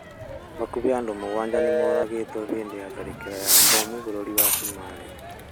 hakuhĩ andũ mũgwanja nĩmoragĩrwo hĩndĩ ya tharĩkĩra ya bomũ bũrũrĩ wa cũmarĩ